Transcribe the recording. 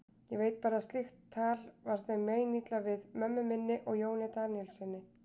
Ég veit bara að slíkt tal var þeim meinilla við, mömmu minni og Jóni Daníelssyni.